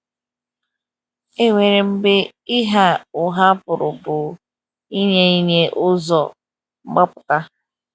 E nwere mgbe ịgha ụgha pụrụ bụ ịnye ịnye ụzo mgbapụta.